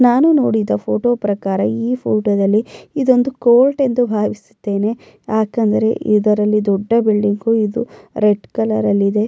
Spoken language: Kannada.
ನಾನು ನೋಡಿದ ಫೋಟೋ ಪ್ರಕಾರ ಈ ಫೋಟೋದಲ್ಲಿ ಇದನ್ನು ಕೋರ್ಟ್ ಎಂದು ಭಾವಿಸುತ್ತ್ತೇನೆ ಯಾಕೇಂದ್ರ ಇದರಲ್ಲಿ ದೊಡ್ಡ ಬೆಳಕು ಇದು ರೆಡ್ ಕಲರ್ ಇದೆ.